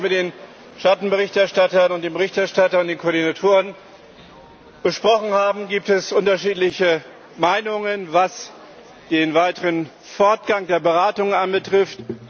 Nachdem wir uns mit den Schattenberichterstattern, dem Berichterstatter und den Koordinatoren besprochen haben, gibt es unterschiedliche Meinungen, was den weiteren Fortgang der Beratungen betrifft.